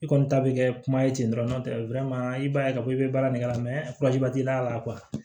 I kɔni ta bɛ kɛ kuma ye ten dɔrɔn tɛ i b'a ye k'a fɔ i bɛ baara min kɛ t'i y'a la